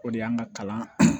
O de y'an ka kalan